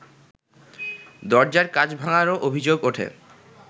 দরজার কাচ ভাঙ্গারও অভিযোগ ওঠে